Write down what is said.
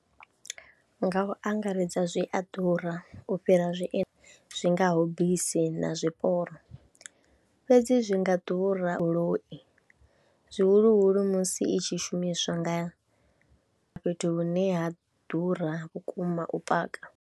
Nga u angaredza zwi a ḓura u fhira zwi ngaho bisi na zwiporo, fhedzi zwi nga ḓura , zwihuluhulu musi i tshi shumiswa nga fhethu hune ha ḓura vhukuma u paka.